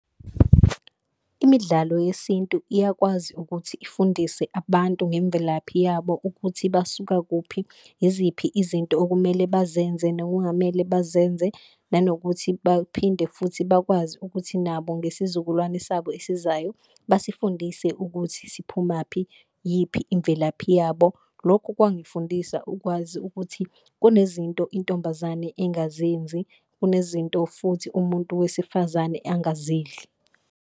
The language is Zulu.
Imidlalo yesintu iyakwazi ukuthi ifundise abantu ngemvelaphi yabo ukuthi basuka kuphi, iziphi izinto okumele bazenze nokungamele bazenze, nanokuthi baphinde futhi bakwazi ukuthi nabo ngesizukulwane sabo esizayo basifundise ukuthi siphumaphi yiphi imvelaphi yabo. Lokhu kwangifundisa ukwazi ukuthi kunezinto intombazane engazenzi, kunezinto futhi umuntu wesifazane angazidli.